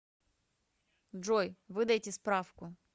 джой выдайте справку